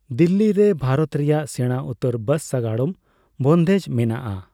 ᱫᱤᱞᱞᱤ ᱨᱮ ᱵᱷᱟᱨᱚᱛ ᱨᱮᱭᱟᱜ ᱥᱮᱬᱟ ᱩᱛᱟᱹᱨ ᱵᱟᱥ ᱥᱟᱜᱟᱲᱚᱢ ᱵᱚᱱᱫᱷᱮᱡᱽ ᱢᱮᱱᱟᱜᱼᱟ ᱾